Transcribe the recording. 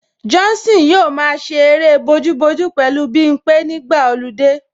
Johnson yóò máa ṣe eré bojúbojú pẹ̀lú Bimpé nígbà ọludé